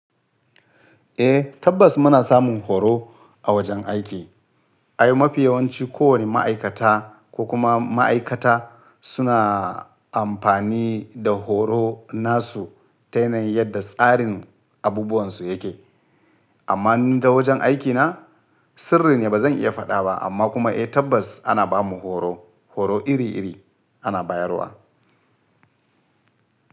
Eh tabbas muna samun horo a wajen aiki. Ai mafi yawanci kowane ma'aikata ko kuma ma'aikata suna amfani da horo nasu ta yanayi yadda tsarin abubuwan su yake. Amma ni ta wajen aikina sirri ne ba zan iya faɗa ba amma kuma eh tabbas ana bamu horo, horo iri iri ana bayarwa.